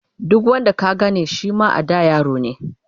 duk wanda ka Gane Shima a da yarone